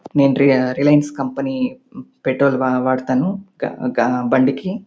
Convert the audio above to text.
నేను రియా Reliance company petrol వాడ వాడుతాను. గా గా బండికి.